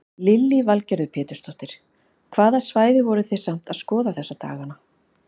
Lillý Valgerður Pétursdóttir: Hvaða svæði eru þið samt að skoða þessa daganna?